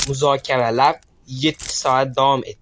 Muzokaralar yetti soat davom etdi.